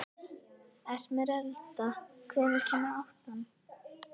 Esmeralda, hvenær kemur áttan?